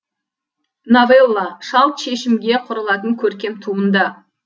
новелла шалт шешімге құрылатын көркем туынды